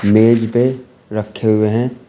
मेज पे रखे हुए हैं।